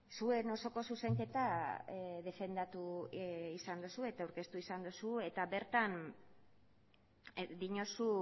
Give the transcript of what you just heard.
zuen osoko zuzenketa defendatu izan duzu eta aurkeztu izan duzu eta bertan diozu